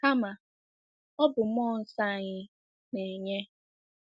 Kama, ọ bụ mmụọ nsọ anyị na-enye.